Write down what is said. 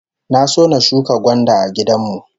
Na so na shuka gwanda a gidan mu